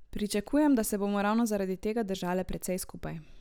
Pričakujem, da se bomo ravno zaradi tega držale precej skupaj.